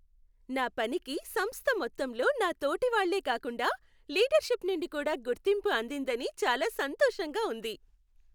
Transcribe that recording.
నా పనికి సంస్థ మొత్తంలో నా తోటివాళ్లే కాకుండా లీడర్షిప్ నుండి కూడా గుర్తింపు అందిందని చాలా సంతోషంగా ఉంది.